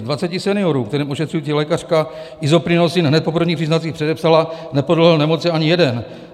Z 20 seniorů, kterým ošetřující lékařka Isoprinosine hned po prvních příznacích předepsala, nepodlehl nemoci ani jeden.